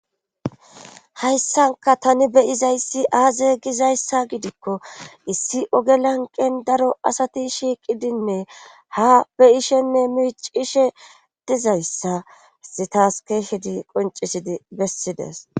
hayssanka tani beyizayssi aaze gizayssa gidikko issi oge lanqen daro asati shiiqidinne ha beyishenne miicishe dizayssasi taas keeshedi qoncisidi bessides